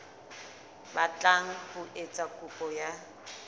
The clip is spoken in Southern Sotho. batlang ho etsa kopo ya